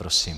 Prosím.